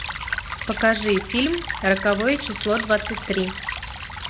покажи фильм роковое число двадцать три